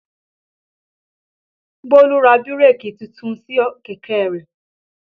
Bólú ra bírèkì titun sí kẹ̀kẹ́ rẹ̀